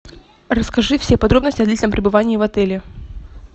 расскажи все подробности о длительном пребывании в отеле